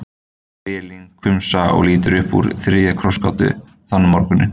spyr Elín hvumsa og lítur upp úr þriðju krossgátunni þann morguninn.